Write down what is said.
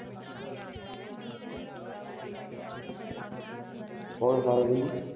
કોણ ફાલ્ગુની?